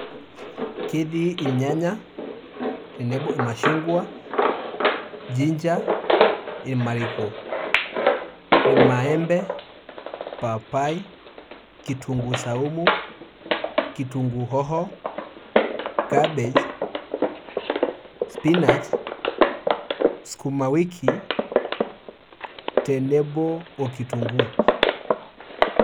Ketii irnyanya, tenebo irmashungwa, ginger, irmariko, irmaembe, papai, kitunkuu saumu, kitunkuu hoho, cabbage, spinach sukuma wiki, tenebo okitunkuu.